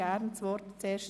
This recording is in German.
Beides ist möglich.